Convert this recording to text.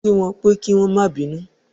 Kí wọ́n pẹ́ kí wọ́n má bínú